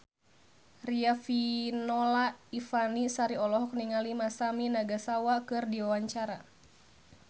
Riafinola Ifani Sari olohok ningali Masami Nagasawa keur diwawancara